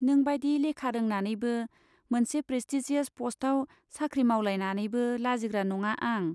नों बाइदि लेखा रोंनानैबो, मोनसे प्रेस्टिजियास पस्टआव साख्रि मावलायनानैबो लाजिग्रा नङा आं।